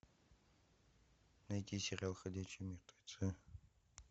найти сериал ходячие мертвецы